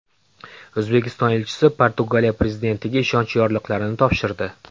O‘zbekiston elchisi Portugaliya prezidentiga ishonch yorliqlarini topshirdi.